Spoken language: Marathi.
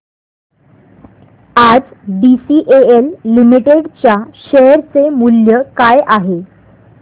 आज बीसीएल लिमिटेड च्या शेअर चे मूल्य काय आहे